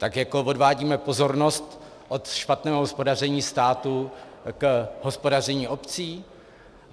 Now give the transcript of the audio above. Tak jako odvádíme pozornost od špatného hospodaření státu k hospodaření obcí?